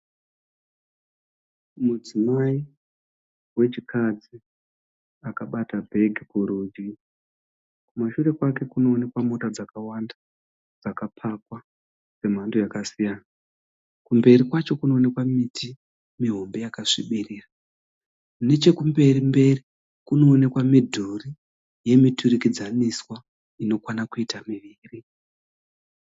Mudzimai wechikadzi akabata bhegi kurudyi. Kumashure kwake kuno onekwa mota dzakawanda dzaka pakwa dzemhando yaka siyana .Kumberi kwacho Kuno onekwa miti mihombe yaksvibira. Nechekumberi mberi kuno onekwa midhuri yemuturikidzaniswa ino kwana kuita miviri.